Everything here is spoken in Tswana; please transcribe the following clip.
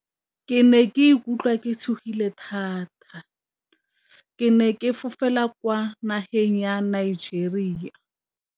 Ke ne ke ikutlwa ke tshogile thata, ke ne ke fofela kwa nageng ya Nigeria.